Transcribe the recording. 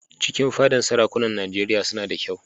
Cikin fadar sarakunan Nijeriya suna da kyau